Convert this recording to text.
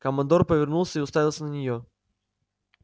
командор повернулся и уставился на неё